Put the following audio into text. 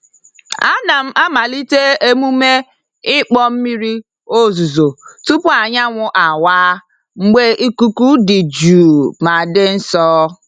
A na-amalite emume ịkpọ mmiri ozuzo tupu anyanwụ awa, mgbe ikuku dị jụụ ma dị nsọ.